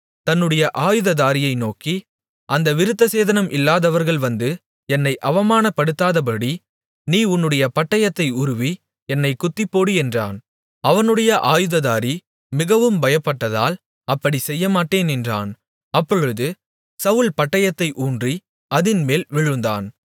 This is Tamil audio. தன்னுடைய ஆயுததாரியை நோக்கி அந்த விருத்தசேதனம் இல்லாதவர்கள் வந்து என்னை அவமானப்படுத்தாதபடி நீ உன்னுடைய பட்டயத்தை உருவி என்னைக் குத்திப்போடு என்றான் அவனுடைய ஆயுததாரி மிகவும் பயப்பட்டதால் அப்படி செய்யமாட்டேன் என்றான் அப்பொழுது சவுல் பட்டயத்தை ஊன்றி அதின்மேல் விழுந்தான்